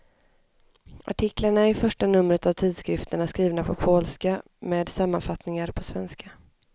Artiklarna i första numret av tidskriften är skrivna på polska, med sammanfattningar på svenska.